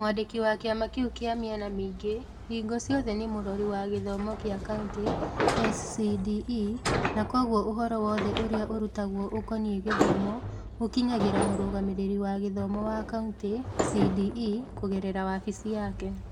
Mwandiki wa kĩama kĩu kĩa mĩena mĩingĩ hingo ciothe nĩ Mũrori wa Gĩthomo wa Kauntĩ (SCDE) na kwoguo ũhoro wothe ũrĩa ũrutagwo ũkoniĩ gĩthomo ũkinyagĩra Mũrũgamĩrĩri wa Gĩthomo wa Kaunti (CDE) kũgerera wabici yake.